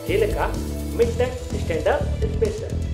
-ᱡᱮᱞᱮᱠᱟ ᱢᱤᱫᱴᱟᱝ stand up special.